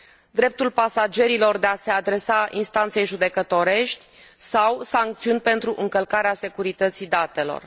dreptul pasagerilor de a se adresa instanței judecătorești sau sancțiuni pentru încălcarea securității datelor.